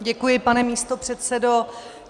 Děkuji, pane místopředsedo.